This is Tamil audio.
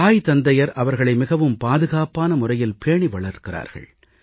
தாய் தந்தையர் அவர்களை மிகவும் பாதுகாப்பான முறையில் பேணி வளர்க்கிறார்கள்